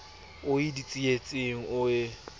o ie ditsietsing o ie